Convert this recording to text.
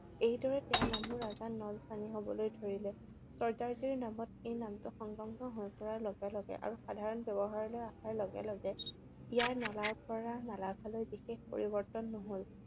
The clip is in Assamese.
এইদৰে তেওঁৰ নামো ৰজা নল সাঙি হবলৈ ধৰিলে। চৰ্দাৰ জীৰ নামত লগত এই নামটো সংলগ্ন হৈ পৰাৰ লগে লগে আৰু সাধাৰণ ব্যৱহাৰলৈ অহাৰ লগে লগে ইয়াৰ নলাৰ পৰা নালাকালৈ লৈ বিশেষ পৰিৱৰ্তন নহল।